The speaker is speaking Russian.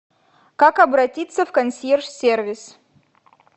как обратиться в консьерж сервис